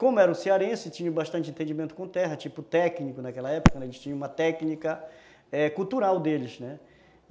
Como eram cearenses, tinham bastante entendimento com terra, tipo técnico naquela época, eles tinham uma técnica, é... cultural deles.